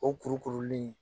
O kuru kuruli